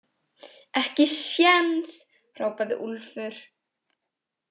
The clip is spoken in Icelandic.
Ekki séns, hrópaði Úlfur.